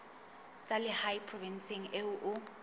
tsa lehae provinseng eo o